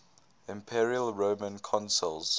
imperial roman consuls